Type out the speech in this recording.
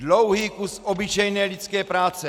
Dlouhý kus obyčejné lidské práce.